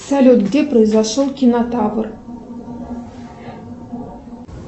салют где произошел кинотавр